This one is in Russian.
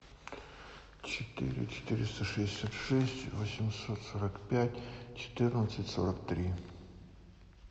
четыре четыреста шестьдесят шесть восемьсот сорок пять четырнадцать сорок три